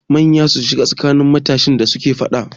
Manya sun shiga tsakanin matasan da suke faɗa.